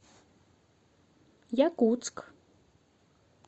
якутск